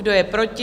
Kdo je proti?